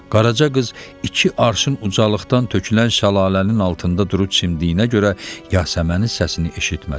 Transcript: Qaraca qız iki arşın ucalıqdan tökülən şəlalənin altında durub çimdiyi üçün Yasəmənin səsini eşitmədi.